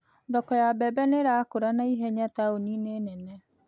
Thoko ya mbembe nĩ ĩrakũra na ihenya taũni-inĩ nene